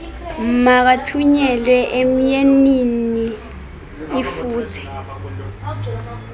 makathunyelwe emyeniinl lfuthe